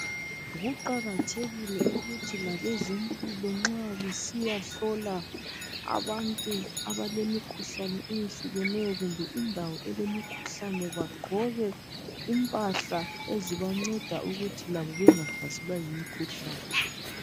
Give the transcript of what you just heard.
Kuqakathekile ukuthi labezempilo nxa besiya hlola abantu abalemikhuhlane eyehlukeneyo kumbe indawo elemikhuhlane bagqoke impahla ezibanceda ukuthi labo bengahlaselwa yimikhuhlane.